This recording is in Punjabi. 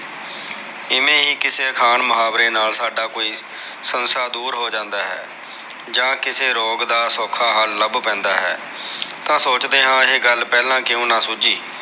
ਇਵੇ ਹੀ ਕਿਸੇ ਅਖਾਣ ਮੁਹਾਵਰੇ ਨਾਲ ਸਾਡਾ ਕੋਈ ਸੰਸਾ ਦੁਰ ਹੋ ਜਾਂਦਾ ਹੈ ਜਾ ਕਿਸੇ ਰੋਗ ਦਾ ਸੋਖਾ ਹਲ ਲਭ ਪੈਂਦਾ ਹੈ ਤਾ ਸੋਚਦੇ ਹਾ ਕੇ ਇਹ ਗਲ ਪਹਿਲਾ ਕਿਉ ਨਾ ਸੂਝੀ